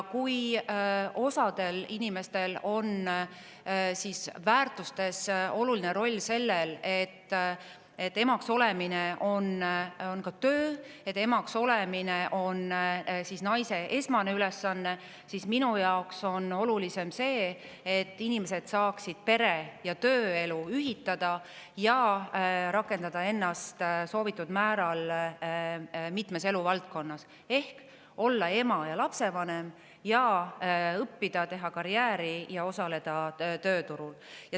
Osa inimeste väärtustes on oluline roll sellel, et emaks olemine on ka töö ja emaks olemine on naise esmane ülesanne, aga minu jaoks on olulisem see, et inimesed saaksid pere‑ ja tööelu ühitada ja rakendada ennast soovitud määral mitmes eluvaldkonnas: olla ema ja lapsevanem, õppida, teha karjääri ja osaleda tööturul.